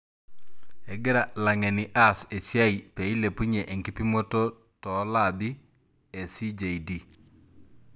Egira langeni aas esiai peilepunye ekipimoto toolabi e CJD.